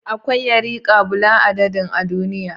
Akwai yarika bula'a dadin a duniya